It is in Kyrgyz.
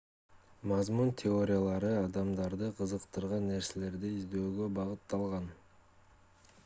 мазмун теориялары адамдарды кызыктырган нерселерди издөөгө багытталган